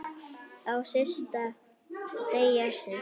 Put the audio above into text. Á stysta degi ársins.